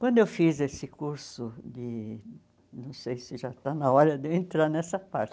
Quando eu fiz esse curso de, não sei se já está na hora de eu entrar nessa parte.